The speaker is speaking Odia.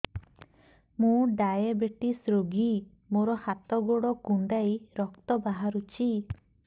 ମୁ ଡାଏବେଟିସ ରୋଗୀ ମୋର ହାତ ଗୋଡ଼ କୁଣ୍ଡାଇ ରକ୍ତ ବାହାରୁଚି